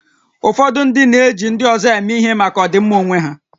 Ụfọdụ ndị na-eji ndị ọzọ eme ihe maka ọdịmma onwe ha